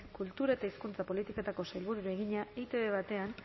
kultura eta hizkuntza politikako sailburuari egina etb batean